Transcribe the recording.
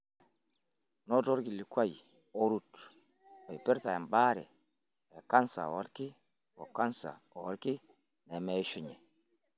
Noto olkilikuai orut oipirta embaare e kansa oolki o kansa oolki nemeishunye.